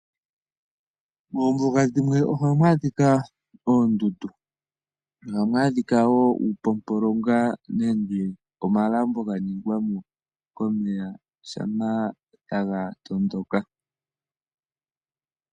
Moombuga dhimwe ohamu adhika oondundu. Ohamu adhika woo uupompolonga nenge omalambo ga ningwa mo komeya shampa taga tondoka.